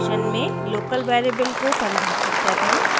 function में local variable को परिभाषित करना और